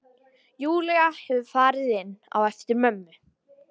Júlía hefur farið inn á eftir mömmu.